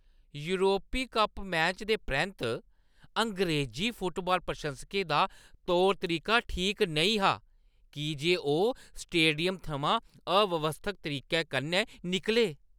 योरपी cup match दे परैंत्त अंग्रेज़ी फुटबाल प्रशंसकें दा तौर तरीका ठीक नेईं हा की जे ओह् स्टेडियम थमां अव्यवस्थत तरीके कन्नै निकले।